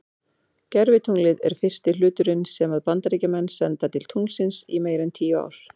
Gervitunglið er fyrsti hluturinn sem að Bandaríkjamenn senda til tunglsins í meira en tíu ár.